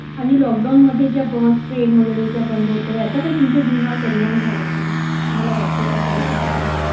आणि लॉकडाऊन मध्ये ज्या bus train वगैरे ज्या बंद होत्या याचा काही तुमच्या जीवनावर परिणाम झाला का तुम्हाला वाटत का कधी कुठे